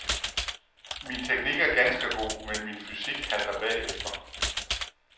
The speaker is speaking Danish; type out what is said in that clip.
Min teknik er ganske god, men min fysik halter bagefter.